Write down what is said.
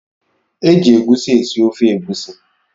Eji egusi esi ofe egusi